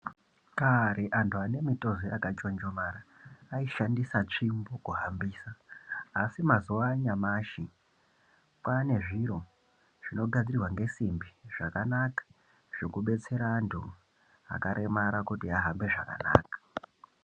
Kare antu ane mitezo yakachonjomara aishandisa tsvimbo kuhambisa asi mazuva anyamashi kwane zvinogadzirwa nesimbi zvakanaka zvekudetsera antu akaremara kuti ahambe zvakanaka.